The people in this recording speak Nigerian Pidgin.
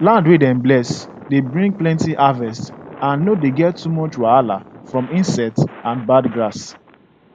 land wey dem bless dey bring plenty harvest and no dey get too much wahala from insects and bad grass